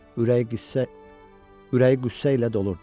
Ürəyi qüssə ilə dolurdu.